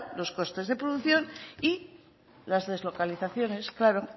los costes de producción y las deslocalizaciones claro